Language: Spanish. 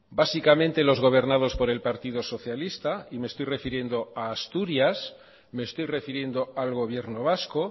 básicamente los gobernados por el partido socialista y me estoy refiriendo a asturias me estoy refiriendo al gobierno vasco